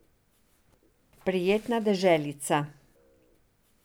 Prijetna deželica.